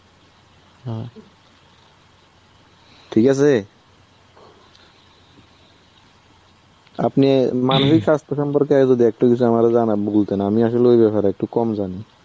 ঠিক আছে? আপনি মানসিক স্বাস্থ্য সম্পর্কে যদি একটু কিছু আমারে জানাব বলতেন. আমি আসলে ওই ব্যাপারে একটু কম জানি.